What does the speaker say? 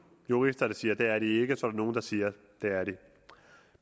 jurister der siger at det er de ikke og så er der nogle der siger at det er de